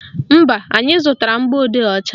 Mba, anyị zụtara mgbọodee ọcha